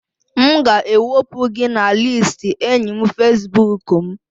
M ga-ewepụ gị na listi enyi Facibụkụ m